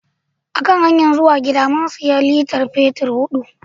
A hanyar zuwa gida, mun siya litar fetur hudu.